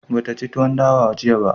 Ba ta ci tuwon dawa ba jiya